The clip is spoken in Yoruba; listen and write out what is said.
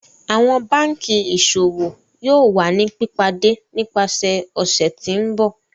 Awọn banki Iṣowo yoo wa ni pipade nipasẹ ọsẹ ti n bọ.